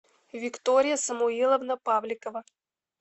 виктория самуиловна павликова